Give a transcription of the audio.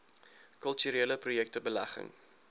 kulturele projekte belegging